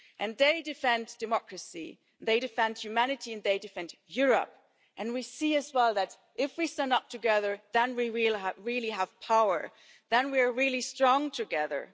And they defend democracy, they defend humanity and they defend Europe, and we see as well that, if we stand up together, then we really have power and we are really strong together.